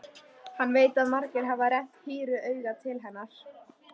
Hann veit að margir hafa rennt hýru auga til hennar.